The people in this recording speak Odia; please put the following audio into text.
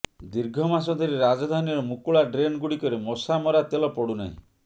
ଦୀର୍ଘମାସ ଧରି ରାଜଧାନୀର ମୁକୁଳା ଡ୍ରେନ୍ ଗୁଡିକରେ ମଶାମରା ତେଲ ପଡୁନାହିଁ